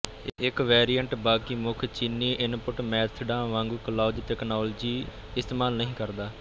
ਇੱਕ ਵੇਰੀਅਂਟ ਬਾਕੀ ਮੁੱਖ ਚੀਨੀ ਇਨਪੁਟ ਮੈਥਡਾ ਵਾਗੂੰ ਕਲਾਊਜ ਤਕਨਾਲੋਜੀ ਇਸਤੇਮਾਲ ਨਹੀਂ ਕਰਦਾ